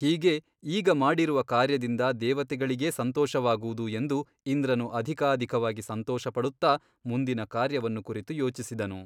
ಹೀಗೆ ಈಗ ಮಾಡಿರುವ ಕಾರ್ಯದಿಂದ ದೇವತೆಗಳಿಗೇ ಸಂತೋಷವಾಗುವುದು ಎಂದು ಇಂದ್ರನು ಅಧಿಕಾಧಿಕವಾಗಿ ಸಂತೋಷಪಡುತ್ತ ಮುಂದಿನ ಕಾರ್ಯವನ್ನು ಕುರಿತು ಯೋಚಿಸಿದನು.